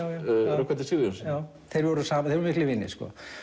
Rögnvaldi Sigurjónssyni þeir voru miklir vinir